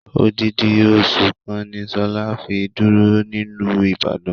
Odidi osu kan ni Shola fi duro niluu Ibadan.